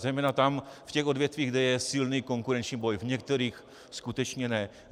Zejména tam, v těch odvětvích, kde je silný konkurenční boj, v některých skutečně ne.